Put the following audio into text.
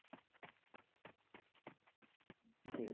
জী